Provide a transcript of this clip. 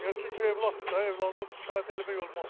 Niyə, çünki övladdır da, övladdan şikayət eləmək olmaz.